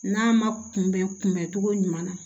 N'a ma kunbɛn kunbɛn cogo ɲuman na